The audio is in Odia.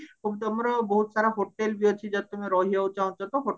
ତମର ବହତୁ ସାରା hotel ବି ଅଛି ଯଦି ତମେ ରହିବାକୁ ଚାହୁଁଛ ତ